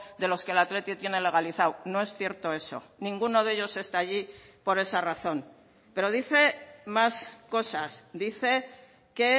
de los que el athletic tiene legalizado no es cierto eso ninguno de ellos está allí por esa razón pero dice más cosas dice que